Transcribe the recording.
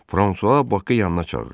Fransua Bakı yanına çağırdı.